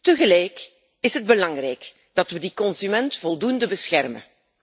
Tegelijk is het belangrijk dat we die consument voldoende beschermen.